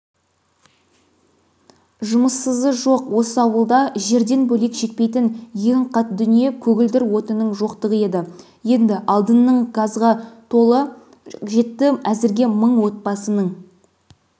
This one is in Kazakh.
жұмыссызы жоқ осы ауылда жерден бөлек жетпейтін ең қат дүние-көгілдір отынның жоқтығы еді енді алдынның газға қолы жетті әзірге мың отбасының